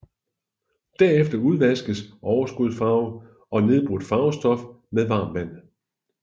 Derefter udvaskes overskudsfarve og nedbrudt farvestof med varmt vand